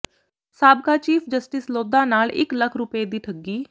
ਸਾਬਕਾ chief justice Lodha ਨਾਲ ਇਕ ਲੱਖ ਰੁਪਏ ਦੀ ਠੱਗੀ